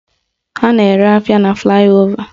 Ha na-ere ahịa na flaị ova